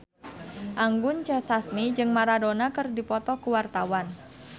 Anggun C. Sasmi jeung Maradona keur dipoto ku wartawan